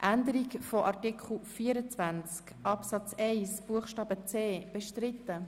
Können wir die beiden Anträge zusammen beraten?